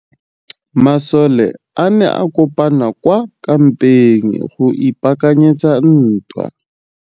Masole a ne a kopane kwa kampeng go ipaakanyetsa ntwa.